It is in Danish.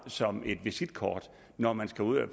som et visitkort når man skal ud at